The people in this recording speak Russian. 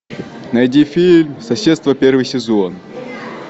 найди фильм соседство первый сезон